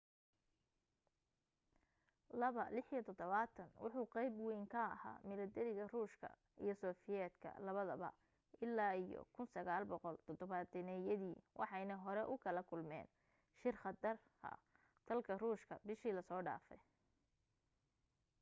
il-76 wuxu qayb wayn ka ahaa milatariga ruushka iyo sofiyeetka labadaba ilaa iyo 1970-yadii waxayna hore ugala kulmeen shil khatar dalka ruushka bishii la soo dhaafay